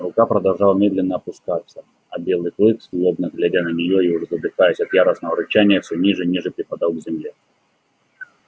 рука продолжала медленно опускаться а белый клык злобно глядя на неё и уже задыхаясь от яростного рычания всё ниже и ниже припадал к земле